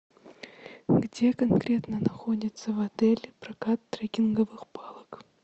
где конкретно находится в отеле прокат трекинговых палок